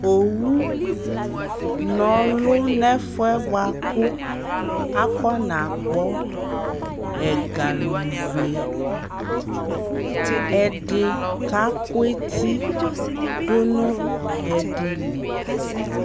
ɔwʋ nɔlʋ nʋ ɛƒʋɛ bʋakʋ akɔna gbɔ ɛga lʋvlɛ, ɛdi kakʋ ɛti ɛdi li